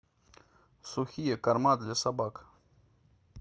сухие корма для собак